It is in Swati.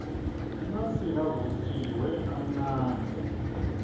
emasi lavutjiwe amnandzi